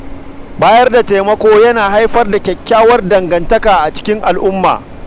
Bayar da taimako yana haifar da kyakkyawar dangantaka tsakanin mutane a cikin al’umma.